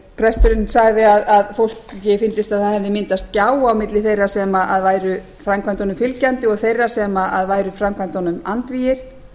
presturinn sagði að fólki fyndist að það hefði myndast gjá á milli þeirra sem væru framkvæmdunum fylgjandi og þeirra sem væru framkvæmdunum andvígir